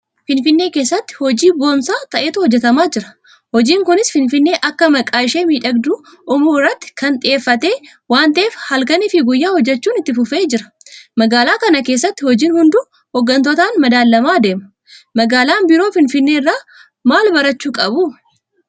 Finfinnee keessatti hojii boonsaa ta'etu hojjetamaa jira. Hojiin kunis Finfinnee akka maqaa ishee miidhagduu uumuu irratti kan xiyyeeffate waanta'eef halkaniifi guyyaa hojjechuun itti fufee jira. Magaalaa kana keessatti hojiin hunduu hooggantootaan madaalamaa adeema. Magaalaan biroo Finfinnee irraa maalbarachuu qabu?